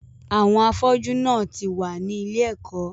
àwọn “ afọ́jú " náà ti wà ní ilé-ẹ̀kó.